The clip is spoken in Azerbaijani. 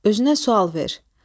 Özünə sual ver.